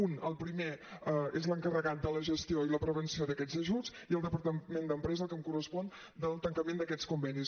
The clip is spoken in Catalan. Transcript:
un el primer és l’encarregat de la gestió i la prevenció d’aquests ajuts i el departament d’empresa el que em correspon del tancament d’aquests convenis